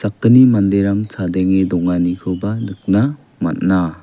manderang chadenge donganikoba nikna man·a.